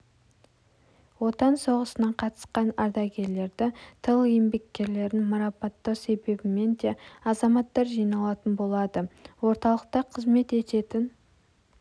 отан соғысына қатысқан ардагерлерді тыл еңбеккерлерін марапаттау себебімен де азаматтар жиналатын болады орталықта қызмет ететін